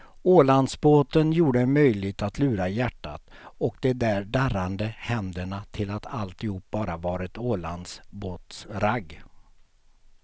Ålandsbåten gjorde det möjligt att lura hjärtat och de där darrande händerna till att alltihop bara var ett ålandsbåtsragg.